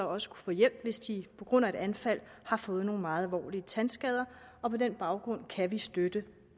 også kunne få hjælp hvis de på grund af et anfald har fået nogle meget alvorlige tandskader og på den baggrund kan vi støtte